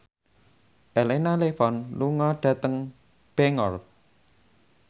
Elena Levon lunga dhateng Bangor